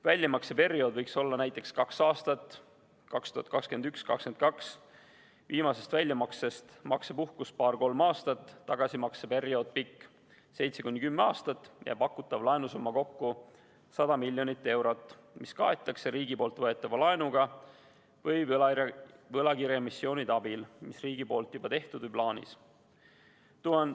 Väljamakseperiood võiks olla näiteks kaks aastat, 2021–2022, viimasest väljamaksest maksepuhkus paar-kolm aastat, tagasimakseperiood seitse kuni kümme aastat ja pakutav laenusumma kokku 100 miljonit eurot, mis kaetakse riigi võetava laenuga või võlakirjaemissioonide abil, mis riigil juba tehtud või plaanis.